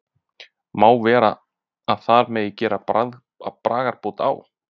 Má vera að þar megi gera bragarbót á?